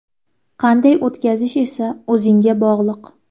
Qanday o‘tkazish esa o‘zingga bog‘liq.